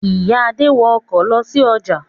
Ìyá Adé wọ ọkọ̀ lọ sí ọjà.